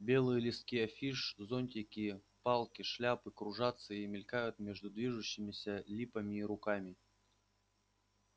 белые листки афиш зонтики палки шляпы кружатся и мелькают между движущимися липами и руками